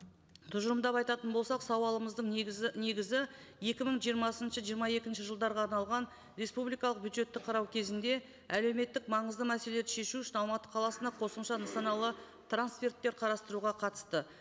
тұжырымдап айтатын болсақ сауалымыздың негізі негізі екі мың жиырмасыншы жиырма екінші жылдарға арналған республикалық бюджетті қарау кезінде әлеуметтік маңызды мәселелерді шешу үшін алматы қаласына қосымша нысаналы трансферттер қарастыруға қатысты